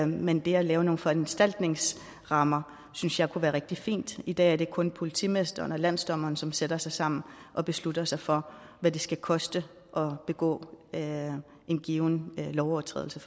men det at lave nogle foranstaltningsrammer synes jeg kunne være rigtig fint i dag er det kun politimesteren og landsdommeren som sætter sig sammen og beslutter sig for hvad det skal koste at begå en given lovovertrædelse